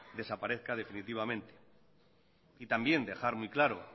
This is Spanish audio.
desaparezca definitivamente y también dejar muy claro